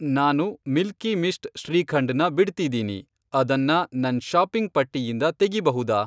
ನಾನು Milky Mist shrikhand ನ ಬಿಡ್ತಿದೀನಿ, ಅದನ್ನ ನನ್ ಷಾಪಿಂಗ್ ಪಟ್ಟಿಯಿಂದ ತೆಗಿಬಹುದಾ?